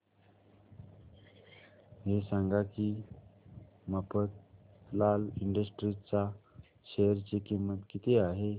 हे सांगा की मफतलाल इंडस्ट्रीज च्या शेअर ची किंमत किती आहे